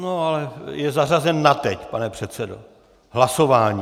No, ale je zařazen na teď, pane předsedo, hlasováním.